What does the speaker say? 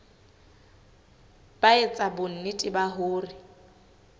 ba etsa bonnete ba hore